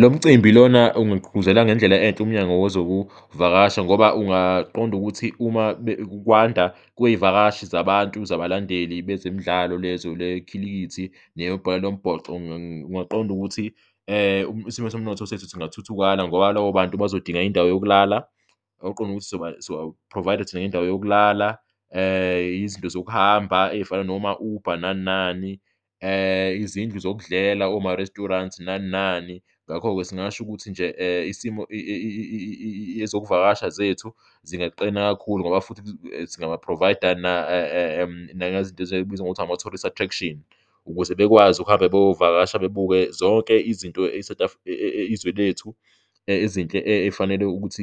Lo mcimbi lona ungagqugquzela ngendlela enhle uMnyango WezokuVakasha ngoba ungaqonda ukuthi uma kwanda kwey'vakashi zabantu, zabalandeli bezemidlalo lezo lekhilikithi nebhola lombhoxo, kungaqonda ukuthi isimo somnotho sethu singathuthukana ngoba labo bantu bazodinga indawo yokulala, okuqonda ukuthi sizoba-provider thina ngendawo yokulala, izinto zokuhamba ey'fana noma-Uber nani nani, izindlu zokudlela, oma-restaurant nani nani. Ngakho-ke singasho ukuthi nje isimo ezokuvakasha zethu zingaqina kakhulu ngoba futhi singaba-provide-a nangezinto ezibizwa ngokuthi ama-tourist attraction ukuze bekwazi ukuhamba beyovakasha, bebuke zonke izinto izwe lethu ezinhle ey'fanele ukuthi